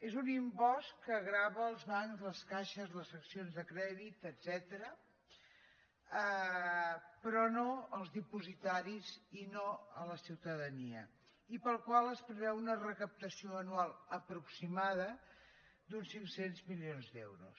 és un impost que grava els bancs les caixes les seccions de crèdit etcètera però no els dipositaris i no la ciutadania i pel qual es preveu una recaptació anual aproximada d’uns cinc cents milions d’euros